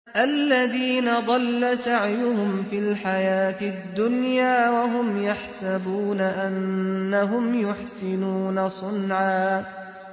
الَّذِينَ ضَلَّ سَعْيُهُمْ فِي الْحَيَاةِ الدُّنْيَا وَهُمْ يَحْسَبُونَ أَنَّهُمْ يُحْسِنُونَ صُنْعًا